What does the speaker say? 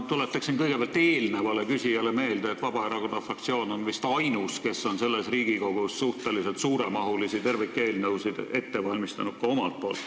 Ma tuletan kõigepealt eelmisele küsijale meelde, et Vabaerakonna fraktsioon on vist ainus, kes on ka omalt poolt selles Riigikogus suhteliselt suuremahulisi tervikeelnõusid ette valmistanud.